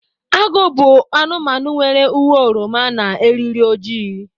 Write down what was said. Agụ bụ anụmanụ nwere uwe oroma na eriri ojii.